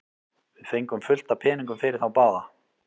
Við fengum fullt af peningum fyrir þá báða.